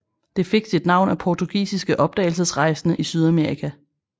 Det fik sit navn af portugisiske opdagelsesrejsende i Sydamerika